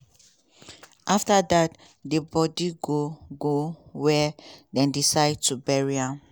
afta dat di bodi go go wia dem decide to bury am.